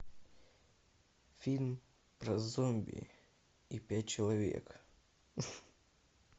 фильм про зомби и пять человек